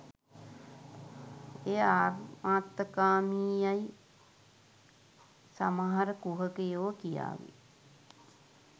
එය ආත්මාර්ථකාමී යැයි සමහර කුහකෙයා් කියාවී.